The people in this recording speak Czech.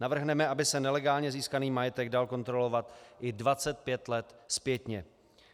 Navrhneme, aby se nelegálně získaný majetek dal kontrolovat i 25 let zpětně.